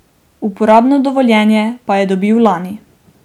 Uporabno dovoljenje pa je dobil lani.